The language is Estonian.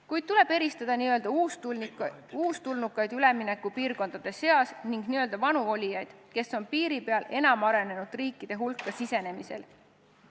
Kuid tuleb eristada n-ö uustulnukaid üleminekupiirkondade seas ning n-ö vanu olijaid, kes on enam arenenud riikide hulka sisenemise piiri peal.